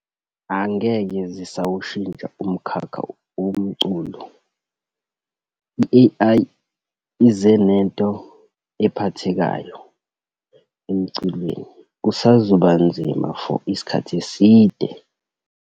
Angeke zisawushintsha umkhakha womculo. I-A_I, i ize nento ephathekayo emculweni. Kusazoba nzima for isikhathi eside.